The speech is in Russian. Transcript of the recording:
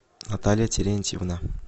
наталья терентьевна